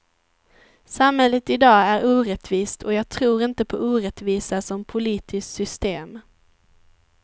Samhället i dag är orättvist och jag tror inte på orättvisa som politiskt system.